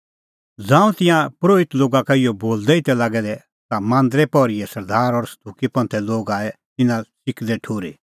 ज़ांऊं तिंयां परोहित लोगा का इहअ बोलदै ई तै लागै दै ता मांदरे पहरीए सरदार और सदुकी लोग आऐ तिन्नां च़िकदै ठुर्ही